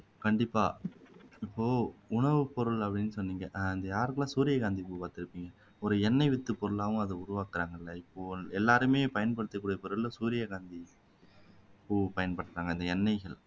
கண்டிப்பா இப்போ உணவுப்பொருள் அப்படின்னு சொன்னீங்கல்ல யாரெல்லாம் சூரியகாந்தி பூ பாத்திருக்கீங்க ஒரு எண்ணெய் வித்துப்போருளாவும் அதை உருவாக்குறாங்க இல்லை இப்போ எல்லாருமே பயன்படுத்தக்கூடிய பொருள்ல சூரியகாந்தி பூவை பயன்படுத்துறாங்க அந்த எண்ணெய்